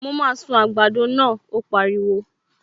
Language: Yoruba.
Mo máa sun àgbàdo náà, ó pariwo